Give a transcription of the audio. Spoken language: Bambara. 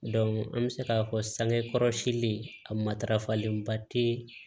an bɛ se k'a fɔ sangekɔrɔsi a matarafalenba tɛ